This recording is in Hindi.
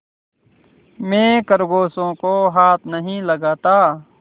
मैं खरगोशों को हाथ नहीं लगाता